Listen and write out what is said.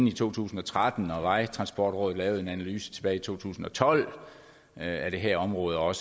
i to tusind og tretten og vejtransportrådet lavet en analyse tilbage i to tusind og tolv af det her område og